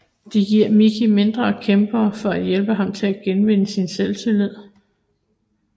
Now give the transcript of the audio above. De giver Micky mindre kæmpere for at hjælpe ham til at genvinde sin selvtillid